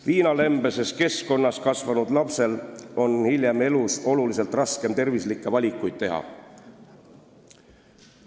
Viinalembeses keskkonnas kasvanud lapsel on hiljem elus oluliselt raskem tervislikke valikuid teha.